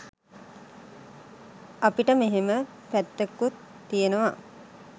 අපිට මෙහෙම පැත්තකුත් තියනවා